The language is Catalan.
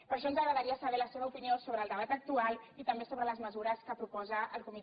per això ens agradaria saber la seva opinió sobre el debat actual i també sobre les mesures que proposa el comitè de bioètica